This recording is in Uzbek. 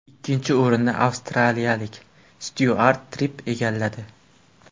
Ikkinchi o‘rinni avstraliyalik Styuart Tripp egalladi.